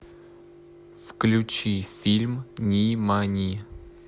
включи фильм нимани